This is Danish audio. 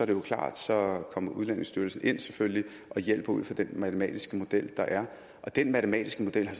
jo klart at så kommer udlændingestyrelsen ind og hjælper ud fra den matematiske model der er og den matematiske model er